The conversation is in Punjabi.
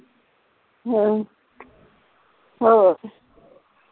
ਹਮ ਹੋਰ